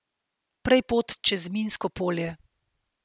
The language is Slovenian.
Prej pot čez minsko polje.